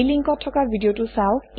এই লিংকত থকা ভিডিঅ চাওক